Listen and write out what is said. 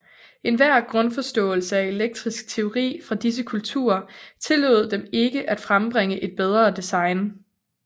Enhver grundforståelse af elektrisk teori fra disse kulturer tillod dem ikke at frembringe et bedre design